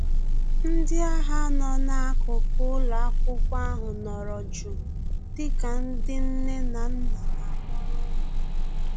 Ndị agha nọ na-akuku ụlọakwụkwọ ahụ nọrọ jụụ dịka ndị nne na nna na-akpọrọ ụmụ ha